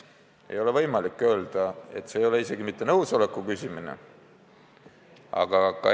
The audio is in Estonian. Ei ole võimalik öelda, et see on nõusoleku küsimine.